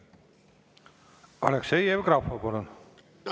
Aleksei Jevgrafov, palun!